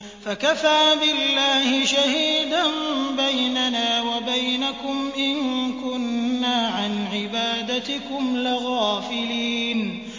فَكَفَىٰ بِاللَّهِ شَهِيدًا بَيْنَنَا وَبَيْنَكُمْ إِن كُنَّا عَنْ عِبَادَتِكُمْ لَغَافِلِينَ